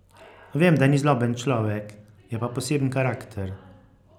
Vem, da ni zloben človek, je pa poseben karakter.